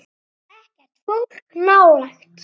Ekkert fólk nálægt.